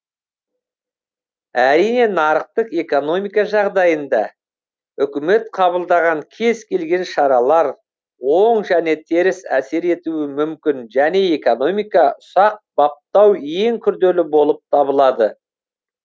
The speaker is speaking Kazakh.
әрине нарықтық экономика жағдайында үкімет қабылдаған кез келген шаралар оң және теріс әсер етуі мүмкін және экономика ұсақ баптау ең күрделі болып табылады